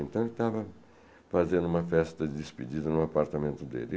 Então, ele estava fazendo uma festa de despedida no apartamento dele.